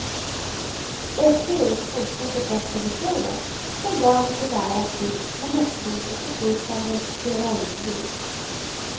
Efteråt fortsatte festen vid poolen, som dagen till ära fyllts med näckrosor och flytande sterainljus.